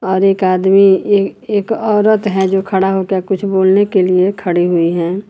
और एक आदमी एक औरत है जो खड़ा होकर कुछ बोलने के लिए खड़ी हुई है।